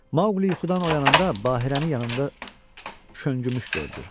Maoqli yuxudan oyananda Bahirəni yanında şöngümüş gördü.